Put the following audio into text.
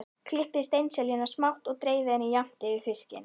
Klippið steinseljuna smátt og dreifið henni jafnt yfir fiskinn.